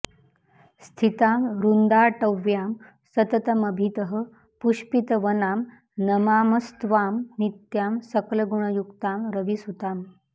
स्थितां वृन्दाटव्यां सततमभितः पुष्पितवनां नमामस्त्वां नित्यां सकलगुणयुक्तां रविसुताम्